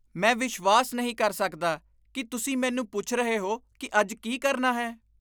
ਮੈਂ ਵਿਸ਼ਵਾਸ ਨਹੀਂ ਕਰ ਸਕਦਾ ਕਿ ਤੁਸੀਂ ਮੈਨੂੰ ਪੁੱਛ ਰਹੇ ਹੋ ਕਿ ਅੱਜ ਕੀ ਕਰਨਾ ਹੈ।